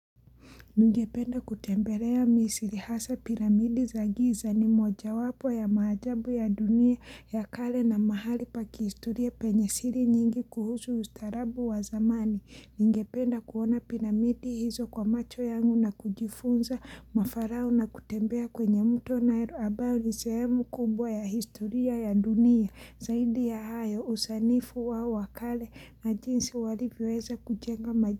Ningependa kutembelea Misri hasa piramidi za giza ni moja wapo ya maajabu ya dunia ya kale na mahali pa kihistoria penye siri nyingi kuhusu ustaarabu wa zamani. Ningependa kuona piramidi hizo kwa macho yangu na kujifunza mafarao na kutembea kwenye mto Nile ambayo ni sehemu kubwa ya historia ya dunia. Zaidi ya hayo usanifu wao wa kale na jinsi walivyoweza kujenga majiji.